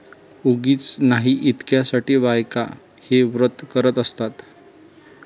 उगीच नाही इतक्या साठी बायका हे व्रत करत असतात